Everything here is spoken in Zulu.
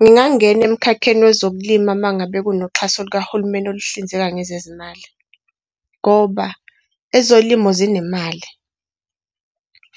Ngingangena emkhakheni wezokulima uma ngabe kunoxhaso lukahulumeni oluhlinzeka ngezezimali. Ngoba, ezolimo zinemali